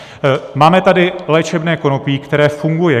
Máme tady léčebné konopí, které funguje.